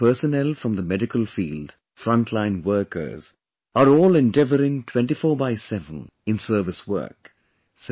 today, our personnel from the medical field, frontline workers are all endeavouring 24×7 in service work